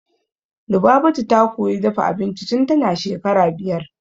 Lubabatu ta koyi dafa abinci tun tana shekara biyar.